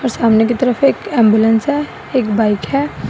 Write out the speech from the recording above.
और सामने की तरफ एक एंबुलेंस है एक बाइक है।